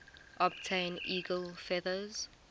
obtain eagle feathers